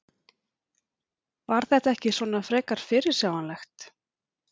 Var þetta ekki svona frekar fyrirsjáanlegt?